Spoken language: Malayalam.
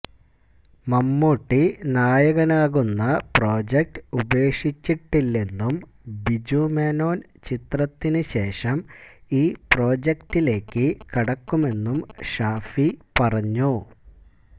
മമ്മൂട്ടി നായകനാകുന്ന പ്രൊജക്ട് ഉപേക്ഷിച്ചിട്ടില്ലെന്നും ബിജു മേനോന് ചിത്രത്തിന് ശേഷം ഈ പ്രൊജക്ടിലേക്ക് കടക്കുമെന്നും ഷാഫി പറഞ്ഞു